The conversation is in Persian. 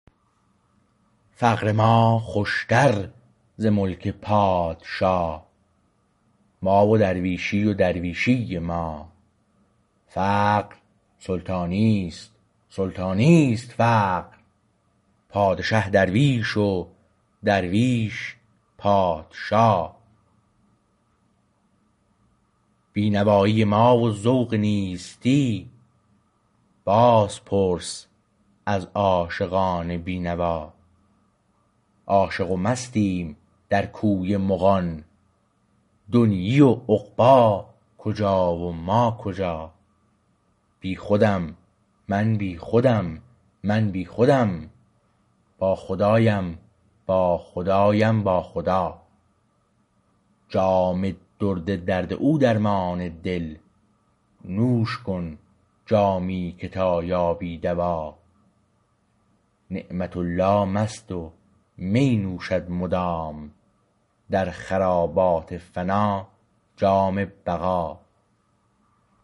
فقر ما خوشتر ز ملک پادشا ما و درویشی و درویشی ما فقر سلطانی است سلطانی است فقر پادشه درویش و درویش پادشا بینوایی ما و ذوق نیستی باز پرس از عاشقان بینوا عاشق و مستیم در کوی مغان دنیی و عقبی کجا و ما کجا بیخودم من بیخودم من بیخودم با خدایم با خدایم با خدا جام درد درد او درمان دل نوش کن جامی که تا یابی دوا نعمت الله مست و می نوشد مدام در خرابات فنا جام بقا